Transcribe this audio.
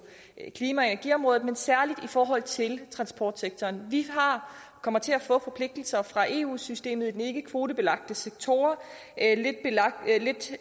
energiområdet men særlig i forhold til transportsektoren vi kommer til at få forpligtelser fra eu systemet i de ikkekvotebelagte sektorer lidt